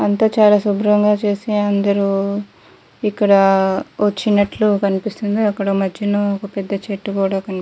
అంతా చాలా శుబ్రంగా చేసి అందరు ఇక్కడ వచ్చినట్లు కనిపిస్తుంది అక్కడ మద్యన ఒక పెద్ద చెట్టు కూడా కని --